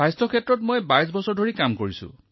মোৰ স্বাস্থ্য ক্ষেত্ৰত অভিজ্ঞতা হৈছে ২২ বছৰ